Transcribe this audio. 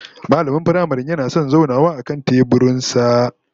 Mallamin firamaren yana da son zaunawa akan teburin sa